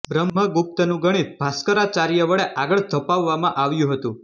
બ્રહ્મગુપ્તનું ગણિત ભાસ્કરાચાર્ય વડે આગળ ધપાવવામાં આવ્યું હતું